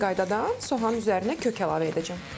Eyni qaydada soğanın üzərinə kök əlavə edəcəm.